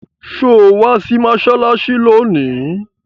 Sọ wá sí mọ́ṣáláṣí lónìí?